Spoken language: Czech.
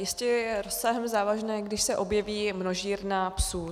Jistě je rozsahem závažné, když se objeví množírna psů.